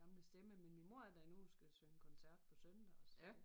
Gamle stemme men min mor er der endnu og skal synge koncert på søndag og så det